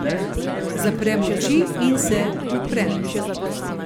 Zaprem oči in se uprem.